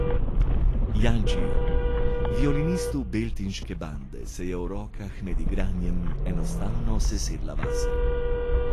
Jančiju, violinistu Beltinške bande, se je v rokah med igranjem enostavno sesedla vase.